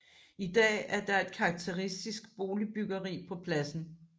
I dag er der et karakteristisk boligbyggeri på pladsen